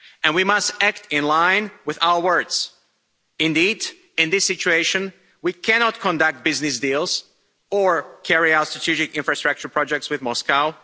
And we must act in line with our words. Indeed, in this situation, we cannot conduct business deals or carry out strategic infrastructure projects with Moscow.